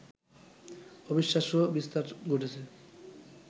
অবিশ্বাস্য বিস্তার ঘটেছে